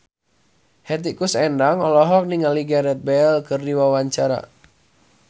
Hetty Koes Endang olohok ningali Gareth Bale keur diwawancara